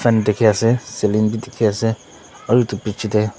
kan dikhi ase ceiling bi dikhiase aru edu bichae tae--.